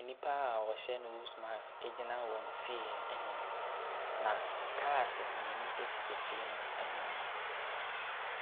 Nnipa wɔhyɛ nose mask egyina wɔn fie ɛnim na cars mmienu esi fie no ɛnim.